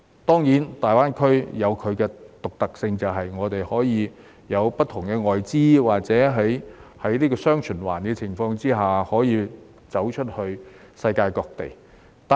當然，大灣區有其獨特性，便是會有不同的外資，或是在"雙循環"的情況下走出去世界各地。